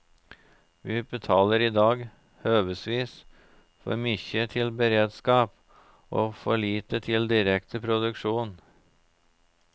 Vi betalar i dag høvesvis for mykje til beredskap og for lite til direkte produksjon.